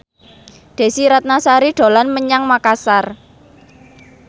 Desy Ratnasari dolan menyang Makasar